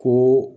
Ko